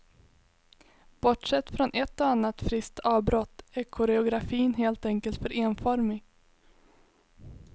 Bortsett från ett och annat friskt avbrott är koreografin helt enkelt för enformig.